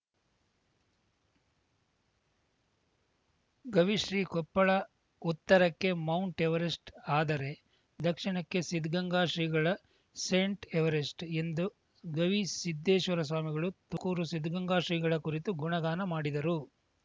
ಗವಿಶ್ರೀ ಕೊಪ್ಪಳ ಉತ್ತರಕ್ಕೆ Mount Everest ಆದರೆ ದಕ್ಷಿಣಕ್ಕೆ ಸಿದ್ಧಗಂಗಾ ಶ್ರೀಗಳು ಸೇಂಟ್‌ ಎವರೆಸ್ಟ್‌ ಎಂದು ಗವಿಸಿದ್ಧೇಶ್ವರ ಸ್ವಾಮಿಗಳು ತುಮಕೂರು ಸಿದ್ಧಗಂಗಾ ಶ್ರೀಗಳ ಕುರಿತು ಗುಣಗಾನ ಮಾಡಿದರು